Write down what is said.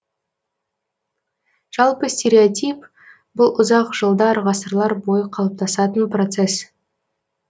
жалпы стереотип бұл ұзақ жылдар ғасырлар бойы қалыптасатын процесс